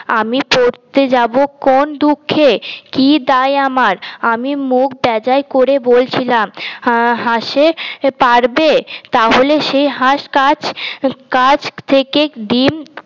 আমি পড়তে যাব কোন দুঃখে কি দায় আমার আমি মুখ বেজায় করে বলছিলাম হাসে পাড়বে তাহলে সে হাস কাছ কাছ থেকে ডিম